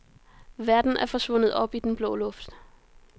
Verden er forsvundet op i den blå luft.